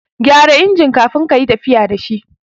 Ka gyara injin kafin kayi tafiya da shi